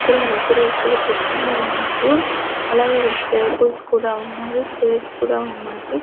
ఇక్కడ ముగ్గురు వ్యక్తులు కూర్చుని ఉన్నారు అలాగే ఇక్కర ట్రేబుల్స్ కూడా ఉన్నాయి చేర్స్ కూడా ఉన్నాయి.